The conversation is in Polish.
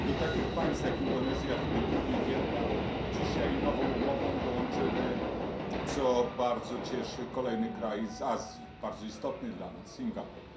i do takich państw jak Indonezja, Filipiny, Wietnam dzisiaj nową umową dołączymy co bardzo cieszy kolejny kraj z Azji, bardzo istotny dla nas, Singapur.